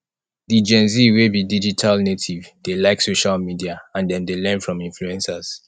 di gen z we be digital native dey like social media and dem dey learn from influencers